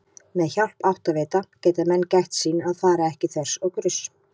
Með hjálp áttavita geta menn gætt sín að fara ekki þvers og kruss!